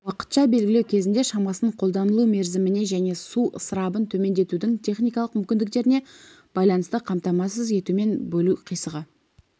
уақытша белгілеу кезінде шамасын қолданылу мерзіміне және су ысырабын төмендетудің техникалық мүмкіндіктеріне байланысты қамтамасыз етумен бөлу қисығы